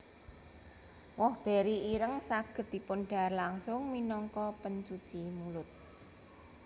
Woh beri ireng saged dipundhahar langsung minangka pencuci mulut